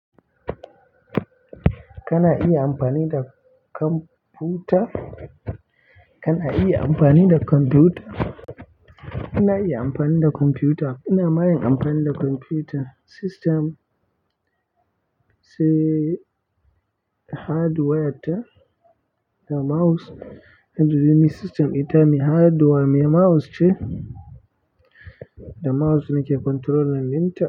Kana iya amfani da kwamfuta kana iya amfani da computer, ina iya amfani da computer ina ma yin amfani da computer system si hardwar ta da mouse. Duk da dai ni system ɗita mai hardware mai mouse ce, da mouse na ke controlling ɗin.